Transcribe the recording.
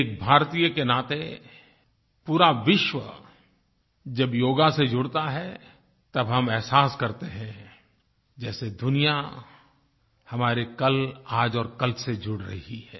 एक भारतीय के नाते पूरा विश्व जब योग से जुड़ता है तब हम अहसास करते हैं जैसे दुनिया हमारे कल आज और कल से जुड़ रही है